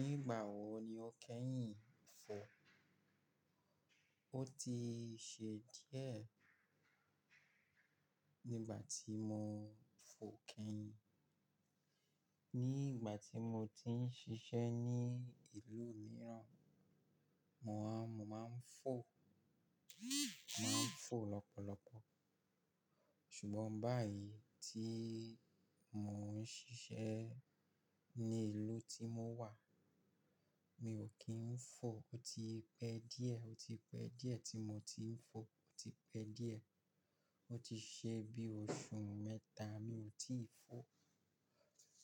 Nígbà wó ní o kẹ́yìn fọ́? Ó ti ṣe díẹ̀ nígbà tí mó fọ̀ kẹ́yìn. Ní ìgbà tí mó ti ń ṣiṣẹ́ ní ìlú mìíràn, mó máa ń fọ̀, màá ń fọ̀ lọ́pọ̀lọpọ̀. Ṣùgbọ́n báyìí tí mó ń ṣiṣẹ́ ní ìlú tí mó wà, mi ò kí ń fọ̀. Ó ti pẹ́ díẹ̀, ó ti pẹ́ díẹ̀ tí mo ti ń fọ̀. Ó ti pẹ́ díẹ̀. Ó ti ṣe bí oṣù mẹ́ta mi ò tíì fọ̀.